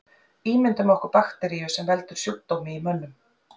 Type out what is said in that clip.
Ímyndum okkur bakteríu sem veldur sjúkdómi í mönnum.